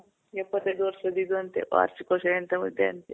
ಇಪ್ಪತೈದ್ ವರ್ಷದ್ ಇದು ಅಂತೆ ವಾರ್ಷಿಕೋತ್ಸವ ಎಂತವೋ ಇದೆ ಅಂತೆ.